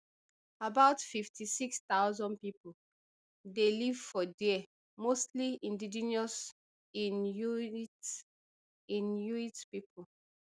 about fifty-six thousand pipo dey live for there mostly indigenous inuit inuit pipo